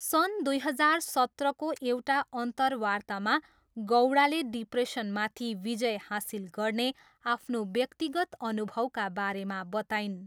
सन् दुई हजार सत्रको एउटा अन्तर्वार्तामा, गौडाले डिप्रेसनमाथि विजय हासिल गर्ने आफ्नो व्यक्तिगत अनुभवका बारेमा बताइन्।